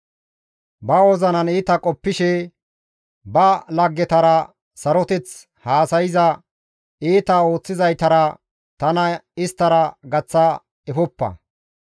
Ba wozinan iita qoppishe ba laggetara saroteth haasayza iita ooththizaytara tana isttara gaththa efoppa.